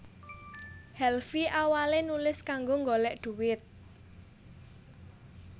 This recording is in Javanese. Helvy awale nulis kanggo golek duit